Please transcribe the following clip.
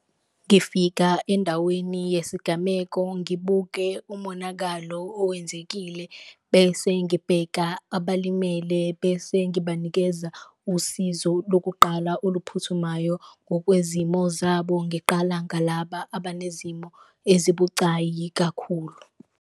Ngifika endaweni yesigameko ngibuke umonakalo owenzekile bese ngibheka abalimele, bese ngibanikeza usizo lokuqala oluphuthumayo ngokwezimo zabo, ngiqala ngalaba abanezimo ezibucayi kakhulu.